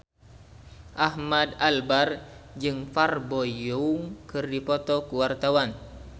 Ahmad Albar jeung Park Bo Yung keur dipoto ku wartawan